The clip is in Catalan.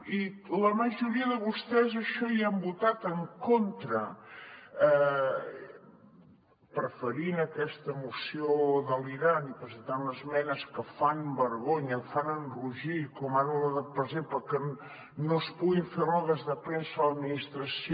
i la majoria de vostès a això hi han votat en contra preferint aquesta moció delirant i presentant esmenes que fan vergonya fan enrogir com ara la de per exemple que no es puguin fer rodes de premsa a l’administració